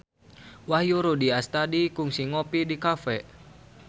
Wahyu Rudi Astadi kungsi ngopi di cafe